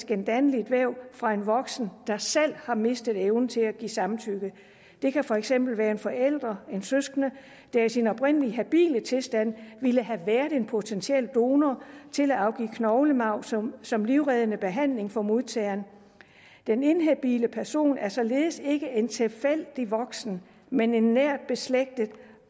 gendanneligt væv fra en voksen der selv har mistet evnen til at give samtykke det kan for eksempel være en forælder eller en søskende der i sin oprindelige habile tilstand ville have været en potentiel donor til at afgive knoglemarv som som livreddende behandling for modtageren den inhabile person er således ikke en tilfældig voksen men en nært beslægtet